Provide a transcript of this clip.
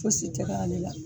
Fosi tɛ kɛ ale la.